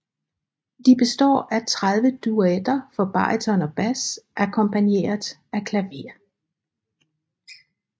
De består af 30 duetter for baryton og bas akkompagneret af klaver